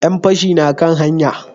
Yan fashi na kan hanya?